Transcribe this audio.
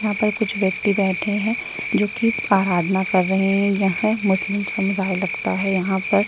यहाँ पर कुछ व्यक्ति बैठे हैं जो की आराधना कर रहे हैं यह मुस्लिम समुदाय लगता है यहाँ पर --